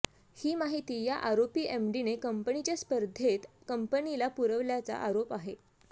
ही माहिती या आरोपी एमडीने कंपनीच्या स्पर्धेक कंपनीला पुरविल्याचा आरोप आहे